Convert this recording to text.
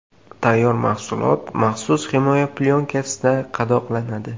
Tayyor mahsulot maxsus himoya plyonkasida qadoqlanadi.